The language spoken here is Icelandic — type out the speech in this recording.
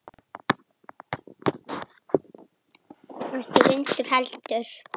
Ekki vinnu heldur.